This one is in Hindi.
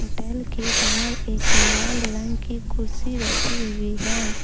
होटल के बाहर एक लाल रंग की कुर्सी रखी हुई हैं।